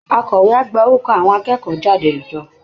Akọ̀wé á gba orúkọ àwọn akẹ́kọ̀ọ́ jáde jọ